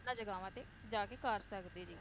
ਇਹਨਾਂ ਜਗਾਵਾਂ ਤੇ ਜਾ ਕ ਕਰ ਸਕਦੇ ਜੇ